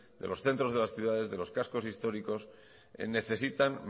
de los centros de las ciudades y de los cascos históricos necesitan